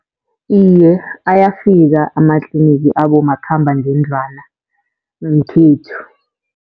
Iye, ayafika amatlinigi abomakhambangendlwana ngekhethu.